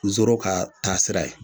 Zoro ka taa sira ye